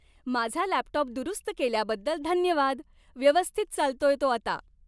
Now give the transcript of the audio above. माझा लॅपटॉप दुरुस्त केल्याबद्दल धन्यवाद. व्यवस्थित चालतोय तो आता.